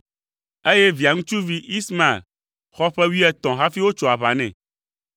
eye Via ŋutsuvi, Ismael, xɔ ƒe wuietɔ̃ hafi wotso aʋa nɛ.